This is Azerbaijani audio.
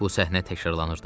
Bu səhnə təkrarlanırdı.